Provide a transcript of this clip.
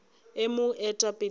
e mo eta pele ka